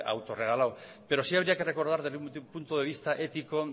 autoregalado pero sí habría que recordar desde un punto de vista ético